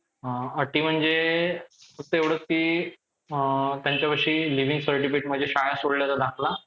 अं मला नाही वाटतं कि कोणाला काही फरक पडत असल. कि उर्फीनि कशे कपडे घातले काय. कारण कि माणूस एकदा बघून ignore करतं. एकदा घातले तर आपल्याला वाटतं अरे दुसऱ्यांदा घातले तर. पण जर माणूस परत परत